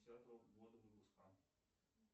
десятого года выпуска